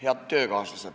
Head töökaaslased!